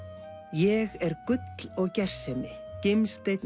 ég er gull og gersemi gimsteinn